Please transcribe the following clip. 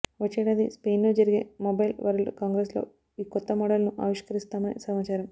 వచ్చే ఏడాది స్పెయిన్లో జరిగే మొబైల్ వరల్డ్ కాంగ్రెస్లో ఈ కొత్త మోడల్ను ఆవిష్కరిస్తామని సమాచారం